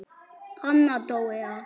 Anna Dóra.